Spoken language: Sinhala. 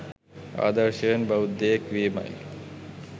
ආදර්ශයෙන් බෞද්ධයෙක් වීමයි.